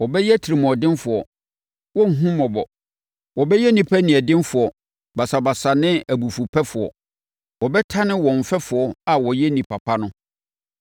wɔbɛyɛ atirimuɔdenfoɔ, wɔrenhu mmɔbɔ, wɔbɛyɛ nnipa edinsɛefoɔ basabasa ne abufupɛfoɔ, wɔbɛtane wɔn mfɛfoɔ a wɔyɛ nnipa pa no,